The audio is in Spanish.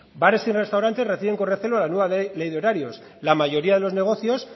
bares y restaurantes reciben con recelo la nueva ley de horarios la mayoría de los negocios